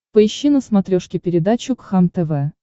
поищи на смотрешке передачу кхлм тв